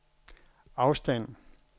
afstand